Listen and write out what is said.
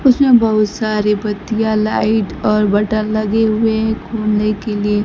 उसमें बहोत सारी बतिया लाइट और बटन लगे हुए हैं खोलने के लिए।